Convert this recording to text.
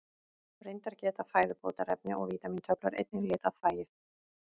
Reyndar geta fæðubótarefni og vítamíntöflur einnig litað þvagið.